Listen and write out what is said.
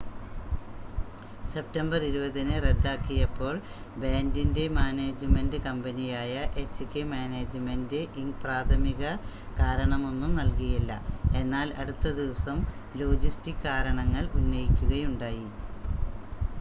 September 20-ന് റദ്ദാക്കിയപ്പോൾ ബാൻഡിൻ്റെ മാനേജ്മെൻ്റ് കമ്പനിയായ എച്ച്കെ മാനേജ്മെൻ്റ് ഇങ്ക് പ്രാഥമിക കാരണമൊന്നും നൽകിയില്ല എന്നാൽ അടുത്ത ദിവസം ലോജിസ്റ്റിക് കാരണങ്ങൾ ഉന്നയിക്കുകയുണ്ടായി